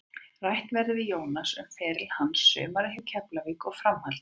Rætt verður við Jónas um feril hans, sumarið hjá Keflavík og framhaldið.